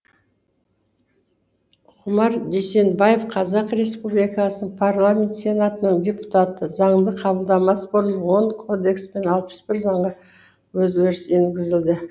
ғұмар дүйсенбаев қазақ республикасын парламенті сенатының депутаты заңды қабылдамас бұрын он кодекс пен алпыс бір заңға өзгеріс енгізілді